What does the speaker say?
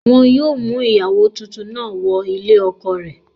Wọn yóò mú ìyàwó tuntun náà wọ ilé ọkọ rẹ̀